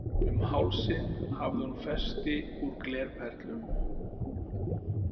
Um hálsinn hafði hún festi úr glerperlum.